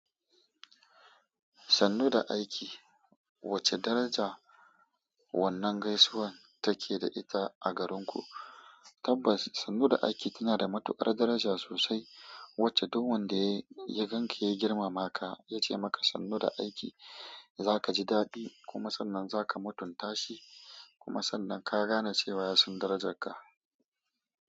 Sannu da aiki, wace daraja wannan gaisuwan take da ita a garinku? Tabbas, sannu da aiki tana da matuƙar daraja sosai, wacce duk wanda yi ya gan ka ya girmama ka ya ce maka sannu da aiki, za ka ji dadi kuma sannan za ka mutunta shi kuma sannan ka gane cewa ya san darajarka.